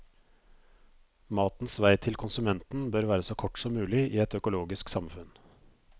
Matens vei til konsumenten bør være så kort som mulig i et økologisk samfunn.